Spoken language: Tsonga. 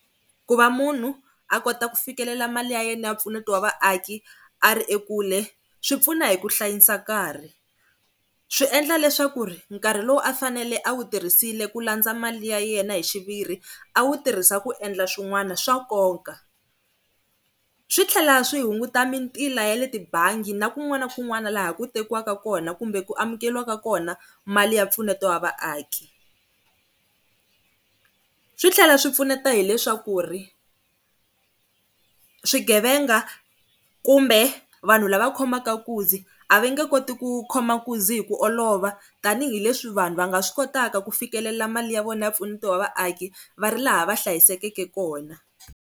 Ku va munhu a kota ku fikelela mali ya yena ya mpfuneto wa vaaki a ri ekule swi pfuna hi ku hlayisa nkarhi. Swi endla leswaku nkarhi lowu a fanele a wu tirhisile ku landza mali ya yena hi xiviri a wu tirhisa ku endla swin'wana swa nkoka. Swi tlhela swi hunguta mintila ya le tibangi na kun'wana na kun'wana laha ku tekiwaka kona kumbe ku amukeriwaka kona mali ya mpfuneto wa vaaki. Swi tlhela swi pfuneta hileswaku swigevenga kumbe vanhu lava khomaka nkunzi a va nge koti ku khoma nkunzi hi ku olova, tanihileswi vanhu va nga swi kotaka ku fikelela mali ya vona ya mpfuneto wa vaaki va ri laha va hlayisekeke kona.